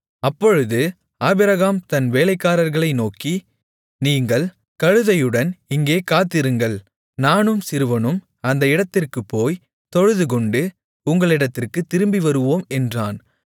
அப்பொழுது ஆபிரகாம் தன் வேலைக்காரர்களை நோக்கி நீங்கள் கழுதையுடன் இங்கே காத்திருங்கள் நானும் சிறுவனும் அந்த இடத்திற்குப் போய் தொழுதுகொண்டு உங்களிடத்திற்குத் திரும்பி வருவோம் என்றான்